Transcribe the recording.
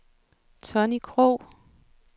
Tonni Krogh